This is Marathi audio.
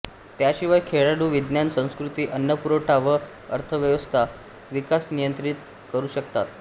याशिवाय खेळाडू विज्ञान संस्कृति अन्नपुरवठा व अर्थव्यवस्थेत विकास नियंत्रित करू शकतात